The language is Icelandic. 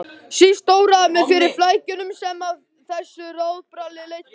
Síst óraði mig fyrir flækjunum sem af þessu ráðabralli leiddi.